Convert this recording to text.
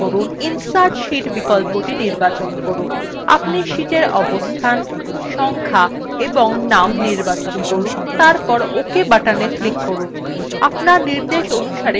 আপনি শীটের অবস্থান সংখ্যা of name নির্বাচন করুন এবং তারপর ok button click করুন আপনার নির্দেশ অনুসারে sheets যুক্ত হয়ে যাবে